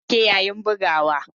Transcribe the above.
Hasken ya dauke yayin bugawa.